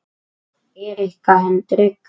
Erika Hendrik